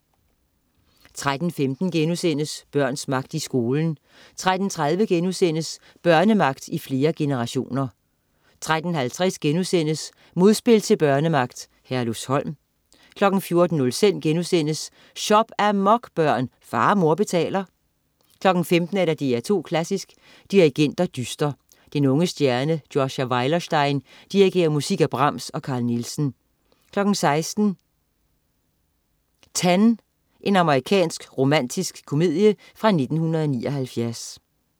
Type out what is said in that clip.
13.15 Børns magt i skolen* 13.30 Børnemagt i flere generationer* 13.50 Modspil til børnemagt: Herlufsholm* 14.05 Shop-amok, børn! Far og mor betaler* 15.00 DR2 Klassisk: Dirigenter dyster. Den unge stjerne Joshua Weilerstein dirigerer musik af Brahms og Carl Nielsen 16.00 10. Amerikansk romantisk komedie fra 1979